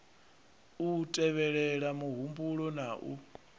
u tevhelela muhumbulo na u